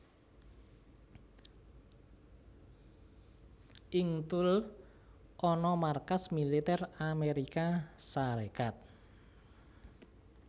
Ing Thule ana markas militer Amérika Sarékat